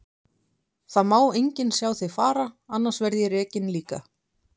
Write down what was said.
Það má enginn sjá þig fara, annars verð ég rekinn líka.